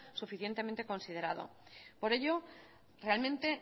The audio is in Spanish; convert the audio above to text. suficientemente considerado por ello realmente